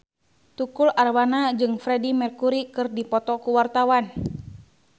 Tukul Arwana jeung Freedie Mercury keur dipoto ku wartawan